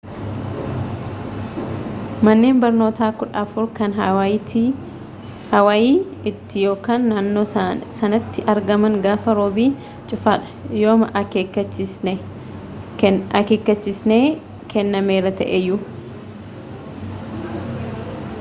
manneen barnoota kudha afur kan hawaayii tti ykn naannoo sanatti argaman gaafaa roobi cufa dha yooma akeekachisnee kennameera ta'eeyyu